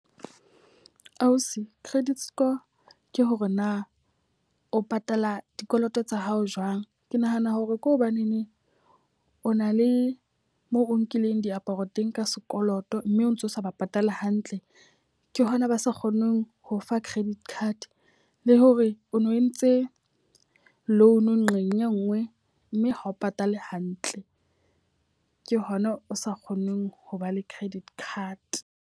Ausi, credit score ke hore na o patala dikoloto tsa hao jwang. Ke nahana hore ke hobaneneng o na le moo o nkileng diaparo teng ka sekoloto mme o ntso sa ba patala hantle. Ke hona ba sa kgoneng ho fa credit card. Le hore o no entse loan nqeng e nngwe mme ha o patale hantle. Ke hona o sa kgoneng ho ba le credit card.